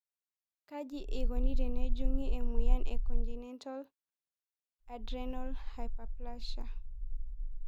Kaji eikoni tenejungi emoyian e congenital adrenal hyperplasia?